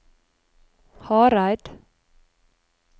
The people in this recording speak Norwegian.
Hareid